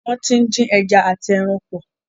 Wọ́n ti ń dín ẹja àti ẹran pọ̀.